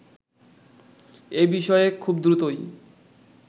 এবিষয়ে খুব দ্রুতই